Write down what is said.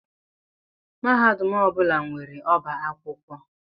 Mahadum ọ bụla nwere ọbá akwụkwọ